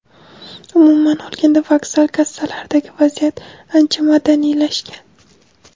Umuman olganda, vokzal kassalaridagi vaziyat ancha madaniylashgan.